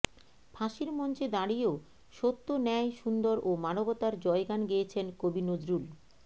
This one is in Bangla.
ফাঁসির মঞ্চে দাঁড়িয়েও সত্য ন্যায় সুন্দর ও মানবতার জয়গান গেয়েছেন কবি নজরুল